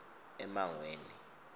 emangweni